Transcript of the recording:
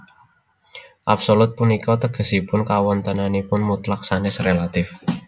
Absolut punika tegesipun kawontenannipun mutlak sanès rélatif